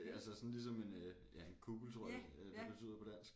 Altså sådan ligesom en øh ja en kuppel tror jeg det betyder på dansk